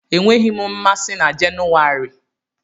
Enweghị m mmasị na Jenuwari